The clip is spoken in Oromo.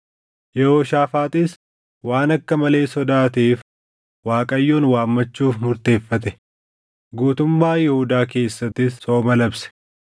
Yehooshaafaaxis waan akka malee sodaateef Waaqayyoon waammachuuf murteeffate; guutummaa Yihuudaa keessattis sooma labse.